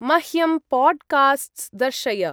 मह्यं पोड्कास्ट्स् दर्शय।